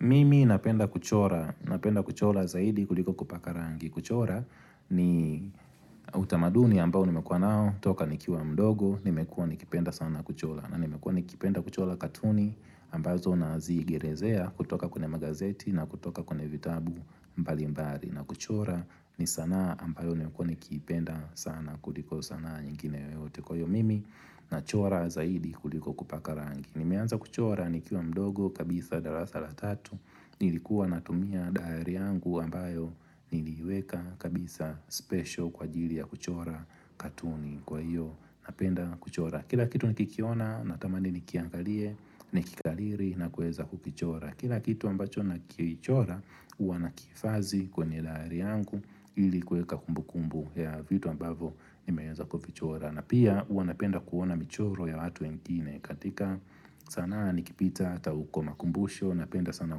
Mimi napenda kuchora, napenda kuchora zaidi kuliko kupaka rangi kuchora ni utamaduni ambao nimekua nao, toka nikiwa mdogo, nimekua nikipenda sana kuchora na nimekua nikipenda kuchora katuni ambazo na ziigirezea kutoka kwenye magazeti na kutoka kwenye vitabu mbali mbali na kuchora ni sanaa ambayo nimekua nikipenda sana kuliko sanaa nyingine yoyote kwa hiyo mimi na chora zaidi kuliko kupaka rangi Nimeanza kuchora nikiwa mdogo kabisa darasa la tatu nilikuwa natumia daari yangu ambayo niliweka kabisa special kwa ajili ya kuchora katuni kwa hiyo napenda kuchora Kila kitu nikikiona natamani nikiangalie nikikaliri na kueza kukichora Kila kitu ambacho na kichora uwa nakifazi kwenye daari yangu ili kuweka kumbu kumbu ya vitu ambavyo nimeanza kufichora na pia huwa napenda kuona michoro ya watu wengine katika sanaa nikipita ata uko makumbusho Napenda sana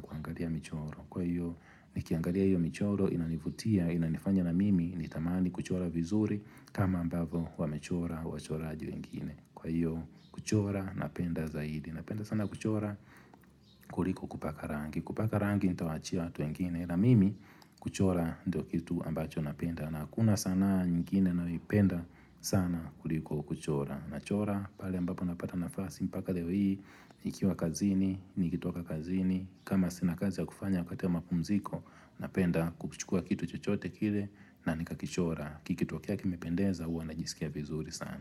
kuangalia michoro Kwa hiyo nikiangalia hiyo michoro inanivutia Inanifanya na mimi ni tamani kuchora vizuri kama ambavyo wamechora wa choraji wengine Kwa hiyo kuchora napenda zaidi Napenda sana kuchora kuliko kupaka rangi Kupaka rangi nita waachia watu wengine na mimi kuchora ndo kitu ambacho napenda na hakuna sanaa nyingine naipenda sana kuliko kuchora na chora pale ambapo napata nafasi mpaka leo hii Nikiwa kazini, nikitoka kazini kama sina kazi ya kufanya wakati wa mapumziko Napenda kuchukua kitu chochote kile na nikakichora Kikitokea kimependeza ua najisikia vizuri sana.